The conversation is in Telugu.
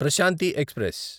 ప్రశాంతి ఎక్స్ప్రెస్